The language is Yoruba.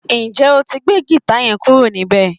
Ǹjé o ti gbé gìta yẹn kúrò níbẹ̀?